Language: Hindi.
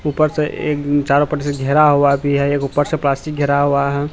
ऊपर से एक चारों पटरी से घेरा हुआ भी है एक ऊपर से प्लास्टिक घेरा हुआ है।